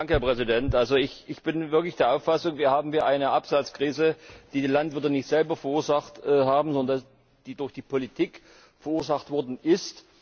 Herr Präsident, ich bin wirklich der Auffassung, wir haben hier eine Absatzkrise, die die Landwirte nicht selber verursacht haben, sondern die durch die Politik verursacht worden ist.